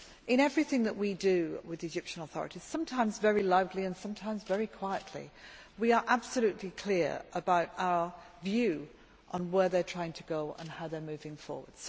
In everything that we do with the Egyptian authorities sometimes in a very lively way and sometimes very quietly we are absolutely clear about our view on where they are trying to go and how they are moving forward.